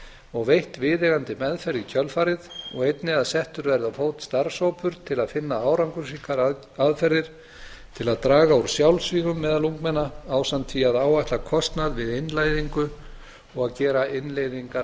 og veitt viðeigandi meðferð í kjölfarið og einnig að settur verði á fót starfshópur til að finna árangursríkar aðferðir til að draga úr sjálfsvígum meðal ungmenna ásamt því að áætla kostnað við innleiðingu og að